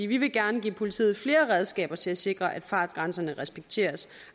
vil gerne give politiet flere redskaber til at sikre at fartgrænserne respekteres